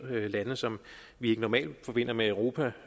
lande som vi ikke normalt forbinder med europa